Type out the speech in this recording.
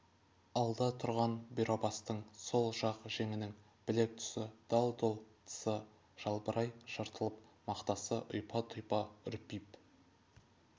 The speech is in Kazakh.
алда тұрған бұйрабастың сол жақ жеңінің білек тұсы дал-дұл тысы жалбырай жыртылып мақтасы ұйпа-тұйпа үрпип